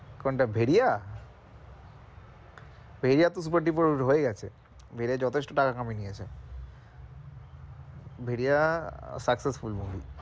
কোনটা ভেরিয়া ভেরিয়া তো super duper hit হয়ে গেছে ভেরিয়া যথেষ্ট টাকা কামিয়ে নিয়েছে ভেরিয়া successful movie